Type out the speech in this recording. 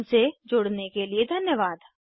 हमसे जुड़ने के लिए धन्यवाद